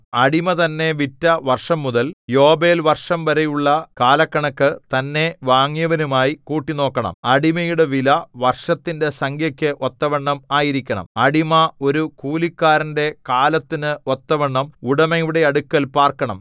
അടിമ തന്നെ വിറ്റ വർഷംമുതൽ യോബേൽവർഷംവരെയുള്ള കാലക്കണക്കു തന്നെ വാങ്ങിയവനുമായി കൂട്ടിനോക്കണം അടിമയുടെ വില വർഷത്തിന്റെ സംഖ്യക്ക് ഒത്തവണ്ണം ആയിരിക്കണം അടിമ ഒരു കൂലിക്കാരന്റെ കാലത്തിന് ഒത്തവണ്ണം ഉടമയുടെ അടുക്കൽ പാർക്കണം